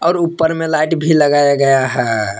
और ऊपर में लाइट लगाया गया है।